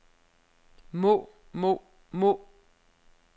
må må må